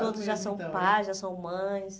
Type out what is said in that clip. Todos já são pais, já são mães.